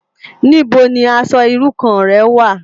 Nibó ni aṣò irú kàn rè wá?